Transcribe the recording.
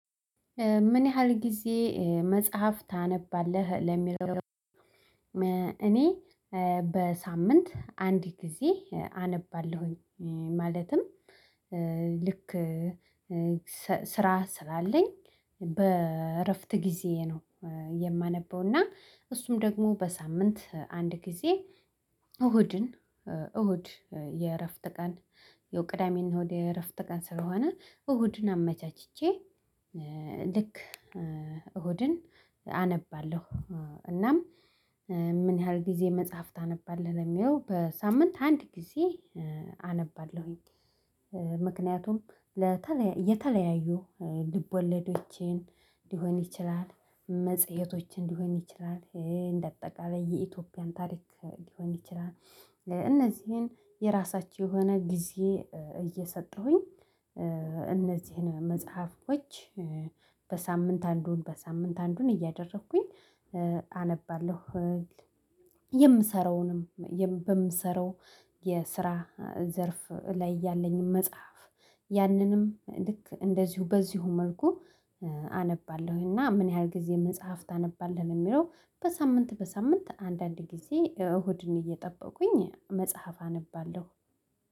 ምን ያህል ጊዜ መጽሐፍ ታነባለህ? ለሚለው እኔ በሳምንት አንድ ጊዜ አነባለሁኝ ማለትም ልክ ስራ ስላለኝ በእረፍት ጊዜ ነው የማነበው። እና እሱም ደግሞ በሳምንት አንድ ጊዜ እሁድን እሁድ የእረፍት ቀን ያው ቅዳሜ እና እሁድ የእረፍት ቀን ስለሆነ እሁድን አመቻችቼ ልክ እሁድን አነባለሁ። እናም ምን ያህል ጊዜ መጽሐፍ ታነባለህ? ለሚለው በሳምንት አንድ ጊዜ አነባለሁኝ። ምክንያቱም የተለያዩ ልቦለዶችን ሊሆን ይችላል መጽሄቶችን ሊሆን ይችላል እንደ አጠቃላይ የኢትዮጵያን ታሪክ ሊሆን ይችላል እነዚህን የራሳቸው የሆነ ጊዜ እየሰጠሁኝ እነዚህን መጽሐፎች በሳምንት አንዱን በሳምንት አንዱን እያደረኩኝ አነባለሁ። የምሰራውንም በምሰራው የስራ ዘርፍ ላይ ያለኝን መጽሐፍ ያንንም ልክ እንደዚሁ በዚሁ መልኩ አነባለሁኝ እና ምን ያህል ጊዜ መጽሐፍ ታነባለህ? ለሚለው በሳምንት በሳምንት አንዳንድ ጊዜ እሁድን እየጠበቁኝ መጽሐፍ አነባለሁ።